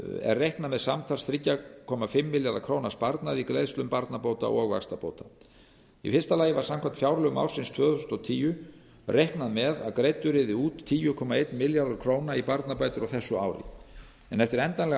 er reiknað með samtals þrjú komma fimm milljarða króna sparnaði í greiðslum barnabóta og vaxtabóta í fyrsta lagi var samkvæmt fjárlögum ársins tvö þúsund og tíu reiknað með að greiddur yrði út tíu komma einn milljarður króna í barnabætur á þessu ári en eftir endanlega ákvörðun